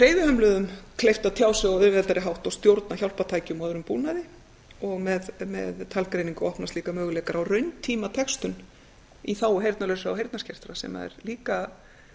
hreyfihömluðum kleift að tjá sig á auðveldari hátt og stjórna hjálpartækjum og öðrum búnaði og með talgreiningu opnast líka möguleikar á rauntímatextun í þágu heyrnarlausra og heyrnarskertra sem er líka